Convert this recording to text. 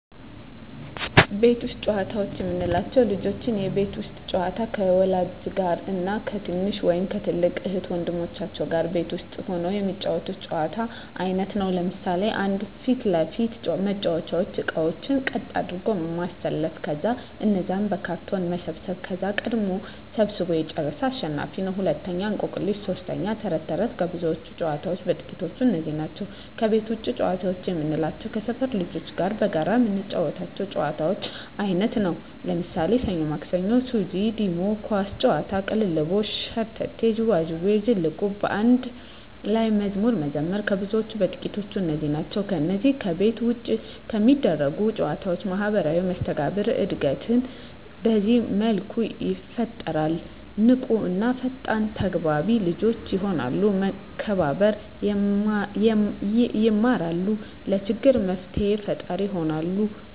ቤት ውስጥ ጨዋታዎች የምንላቸው፦ ልጆች የቤት ውስጥ ጨዋታ ከወላጆች ጋር እና ከትንሽ ወይም ከትልቅ እህት ወንድሞቻቸው ጋር ቤት ውስጥ ሁነው የሚጫወቱት የጨዋታ አይነት ነው። ለምሣሌ 1. ፊት ለፊት መጫዎቻ እቃቃዎችን ቀጥ አድርጎ ማሠለፍ ከዛ እነዛን በካርቶን መሰብሠብ ከዛ ቀድሞ ሠብስቦ የጨረሠ አሸናፊ ነው፤ 2. እቆቅልሽ 3. ተረት ተረት ከብዙዎች ጨዋታዎች በጥቃቱ እነዚህ ናቸው። ከቤት ውጭ ጨዋታ የምንላቸው ከሠፈር ልጆች ጋር በጋራ የምንጫወተው የጨዋታ አይነት ነው። ለምሣሌ፦ ሠኞ ማክሠኞ፤ ሱዚ፤ ዲሞ፤ ኳስ ጨዋታ፤ ቅልልቦሽ፤ ሸርተቴ፤ ዥዋዥዌ፤ ዝልቁብ፤ በአንድ ላይ መዝሙር መዘመር ከብዙዎቹ በጥቂቱ እነዚህ ናቸው። ከነዚህ ከቤት ውጭ ከሚደረጉ ጨዎች ማህበራዊ መስተጋብር እድገት በዚህ መልኩ ይፈጠራል። ንቁ እና ፈጣን ተግባቢ ልጆች የሆናሉ፤ መከባበር የማራሉ፤ ለችግር መፍትሔ ፈጣሪ ይሆናሉ፤ ማካፈልን ይማራ፤